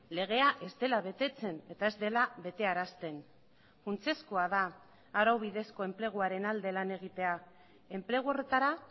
legea ez dela betetzen eta ez dela betearazten funtsezkoa da arau bidezko enpleguaren alde lan egitea enplegu horretara